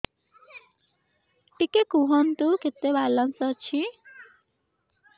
ଟିକେ କୁହନ୍ତୁ କେତେ ବାଲାନ୍ସ ଅଛି